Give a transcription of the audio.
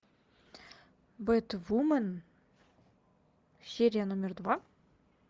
бэтвумен серия номер два